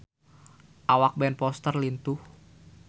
Awak Ben Foster lintuh